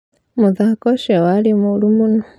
Muthako ũcio warĩ mũru mũno